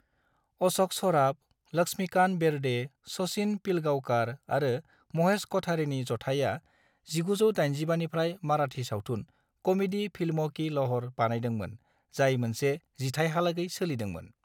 अश'क सराफ, लक्ष्मीकांत बेर्डे, सचिन पिलगांवकार आरो महेश क'ठारेनि जथाइया 1985 निफ्राय माराठी सावथुन "कमेडी फिल्मों की लहर" बानायदोंमोन जाय मोनसे जिथाइहालागै सोलिदोंमोन।